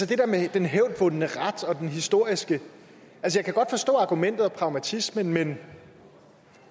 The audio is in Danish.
det med den hævdvundne ret og det historiske jeg kan godt forstå argumentet og pragmatismen men